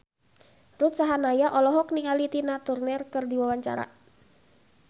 Ruth Sahanaya olohok ningali Tina Turner keur diwawancara